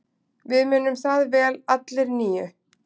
Við munum það vel allir níu.